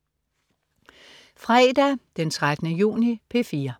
Fredag den 13. juni - P4: